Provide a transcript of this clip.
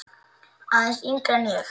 Aðeins yngri en ég.